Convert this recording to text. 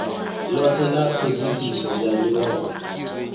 lothe la thodisiso ya europa